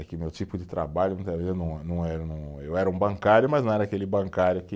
É que meu tipo de trabalho, eu não, não eh, não, eu era um bancário, mas não era aquele bancário que